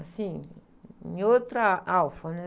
Assim, em outra alfa, né?